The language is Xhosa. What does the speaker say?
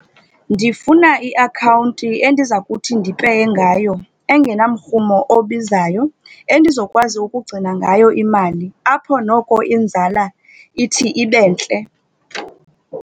Ndifuna iakhawunti endiza kuthi ndipeye ngayo engenamrhumo obizayo, endizokwazi ukugcina ngayo imali apho noko inzala ithi ibe ntle.